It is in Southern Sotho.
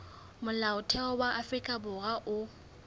molaotheo wa afrika borwa o